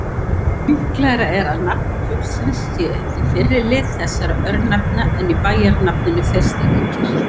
Líklegra er að nafn fuglsins sé í fyrri lið þessara örnefna en í bæjarnafninu Þeistareykir.